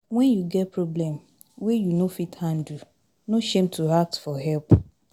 Wen you get problem wey you no fit handle, no shame to ask for help.